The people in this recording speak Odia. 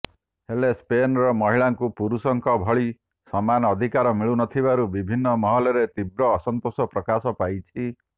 ହେଲେ ସ୍ପେନରେ ମହିଳାଙ୍କୁ ପୁରୁଷଙ୍କ ଭଳି ସମାନ ଅଧିକାର ମିଳୁନଥିବାରୁ ବିଭିନ୍ନ ମହଲରେ ତୀବ୍ର ଅସନ୍ତୋଷ ପ୍ରକାଶ ପାଇଛି